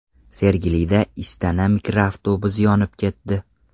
Sergelida Istana mikroavtobusi yonib ketdi.